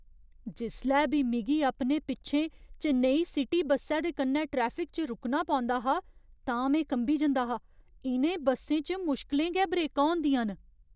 जिसलै बी मिगी अपने पिच्छें चेन्नई सिटी बस्सै दे कन्नै ट्रैफिक च रुकना पौंदा हा तां में कंबी जंदा हा। इ'नें बस्सें च मुश्कलें गै ब्रेकां होंदियां न।